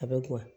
A bɛ buwa